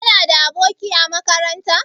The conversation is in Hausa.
Kana da aboki a makaranta?